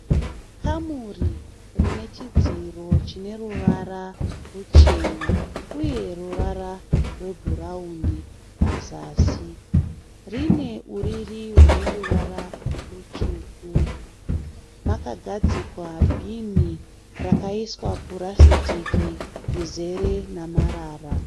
Kamuri rine chidziro chineruvara ruchena uye ruvara rwebhurauni pazasi. Rine uriri rwuneruvara rutsvuku. Makagadzikwa bhinhi rakaiswa purasitiki rizere namarara.